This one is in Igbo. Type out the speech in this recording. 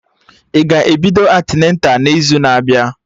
Ị ga-ebido antịneta n'izu na abịa?